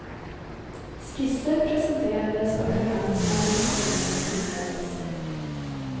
Skisser presenterades och förhandlingar med kommunen inleddes.